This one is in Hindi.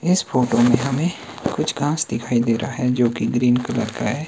इस फोटो में हमें कुछ घास दिखाई दे रहा है जोकि ग्रीन कलर का है।